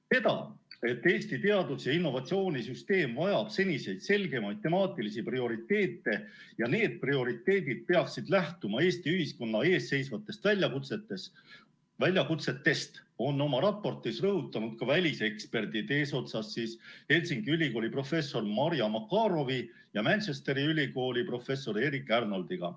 Seda, et Eesti teadus‑ ja innovatsioonisüsteem vajab senisest selgemaid temaatilisi prioriteete ja need prioriteedid peaksid lähtuma Eesti ühiskonna ees seisvatest väljakutsetest, on oma raportis rõhutanud ka väliseksperdid, eesotsas Helsingi ülikooli professori Marja Makarowi ja Manchesteri ülikooli professori Erik Arnoldiga.